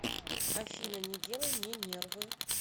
афина не делай мне нервы